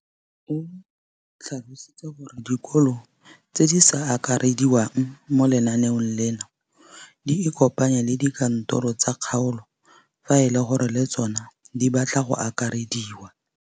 O tlhalositse gore dikolo tse di sa akarediwang mo lenaaneng leno di ikopanye le dikantoro tsa kgaolo fa e le gore le tsona di batla go akarediwa.